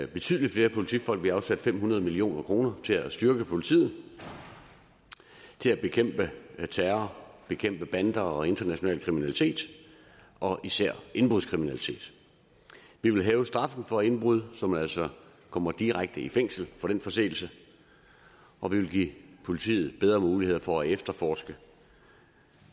betydelig flere politifolk vi har afsat fem hundrede million kroner til at styrke politiet til at bekæmpe terror og bekæmpe bander og international kriminalitet især indbrudskriminalitet vi vil hæve straffen for indbrud så man altså kommer direkte i fængsel for den forseelse og vi vil give politiet bedre muligheder for at efterforske